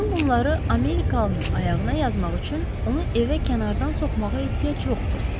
Bütün bunları Amerikalının ayağına yazmaq üçün onu evə kənardan soxmağa ehtiyac yoxdur.